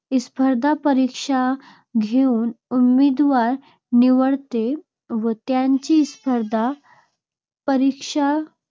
स्पर्धा परीक्षा घेऊन उमेदवार निवडते व त्यांची स्पर्धा परीक्षा